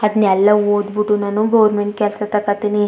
ಅದ್ನೇಲ್ಲಾ ಓದ್ ಬಿಟ್ಟು ನಾನು ಗೋವರ್ನಮೆಂಟ್ ಕೆಲ್ಸ್ ತಕೊತ್ತಿನಿ.